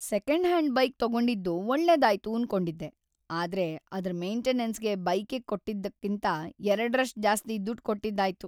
Second hand bike ತಗೊಂಡಿದ್ದು ಒಳ್ಳೇದಾಯ್ತು ಅನ್ಕೊಂಡಿದ್ದೆ, ಆದ್ರೆ ಅದ್ರ್ ಮೇಂಟೆನನ್ಸ್‌ಗೆ ಬೈಕಿಗ್ ಕೊಟ್ಟಿದ್ದಕ್ಕಿಂತ ಎರಡ್ರಷ್ಟ್ ಜಾಸ್ತಿ ದುಡ್ ಕೊಟ್ಟಿದ್ದಾಯ್ತು.